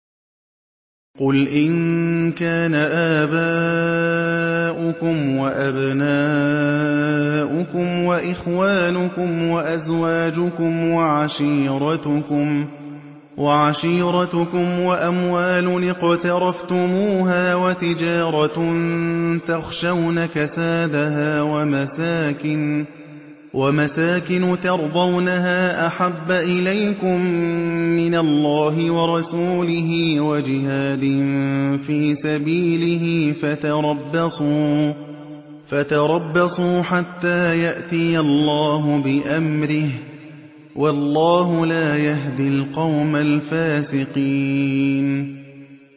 قُلْ إِن كَانَ آبَاؤُكُمْ وَأَبْنَاؤُكُمْ وَإِخْوَانُكُمْ وَأَزْوَاجُكُمْ وَعَشِيرَتُكُمْ وَأَمْوَالٌ اقْتَرَفْتُمُوهَا وَتِجَارَةٌ تَخْشَوْنَ كَسَادَهَا وَمَسَاكِنُ تَرْضَوْنَهَا أَحَبَّ إِلَيْكُم مِّنَ اللَّهِ وَرَسُولِهِ وَجِهَادٍ فِي سَبِيلِهِ فَتَرَبَّصُوا حَتَّىٰ يَأْتِيَ اللَّهُ بِأَمْرِهِ ۗ وَاللَّهُ لَا يَهْدِي الْقَوْمَ الْفَاسِقِينَ